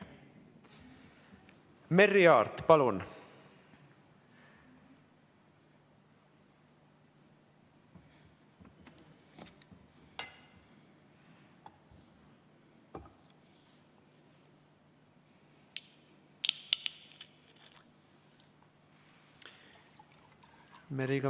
Merry Aart, palun!